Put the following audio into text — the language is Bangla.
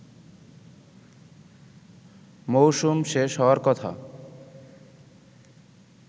মৌসুম শেষ হওয়ার কথা